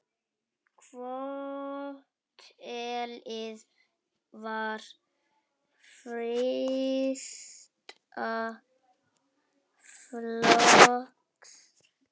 Hótelið var fyrsta flokks.